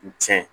Tiɲɛ